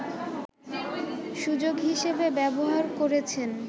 সুযোগ হিসেবে ব্যবহার করেছেন